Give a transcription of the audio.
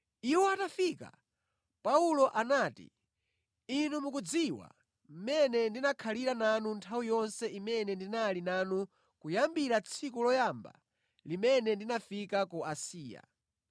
Iwo atafika, Paulo anati, “Inu mukudziwa mmene ndinakhalira nanu nthawi yonse imene ndinali nanu kuyambira tsiku loyamba limene ndinafika ku Asiya.